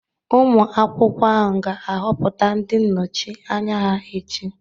Ụmụ akwụkwọ ahụ ga-ahọpụta ndị nnọchi anya ha echi.